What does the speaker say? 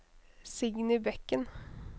Signy Bekken